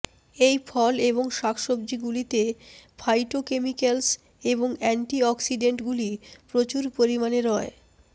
এই ফল এবং শাকসবজিগুলিতে ফাইটোকেমিক্যালস এবং অ্যান্টিঅক্সিডেন্টগুলি প্রচুর পরিমাণে রয়